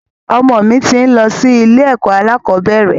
Ọmọ mi ti ń lọ sí ilé ẹ̀kọ́ alakọ̀bẹ́ẹ́rẹ̀